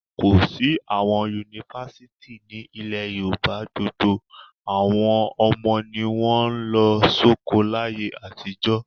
Kò sí àwọn yunifásítì ni ilẹ̀ Yorùbá gbogbo àwọn ọmọ ni wọ́n ń lọ sóko láyé àtijọ́.